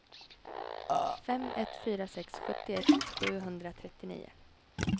fem ett fyra sex sjuttioett sjuhundratrettionio